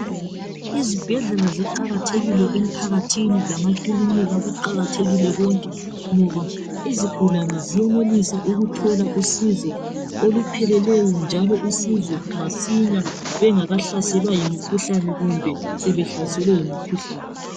Izibhedlela ziqakathekile emphakathini lamakilinika kuqakathekile konke ngoba izigulane ziyenelisa ukuthola usizo olupheleleyo njalo usizo masinya bengakahlaselwa yimikhuhlane kumbe sebehlaselwe yimikhuhlane